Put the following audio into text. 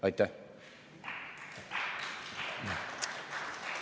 Aitäh!